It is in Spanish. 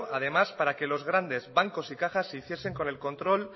además para que los grandes bancos y cajas se hiciesen con el control